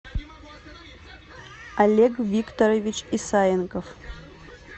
олег викторович исаенков